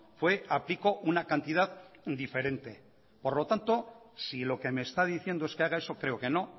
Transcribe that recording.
fue a pico una cantidad diferente por lo tanto si lo que me está diciendo es que haga eso creo que no